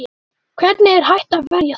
Hvernig er hægt að verja það?